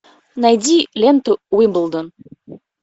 найди ленту уимблдон